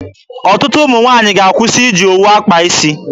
Ọtụtụ ụmụ nwaanyị ga-akwụsị iji owu akpa isi.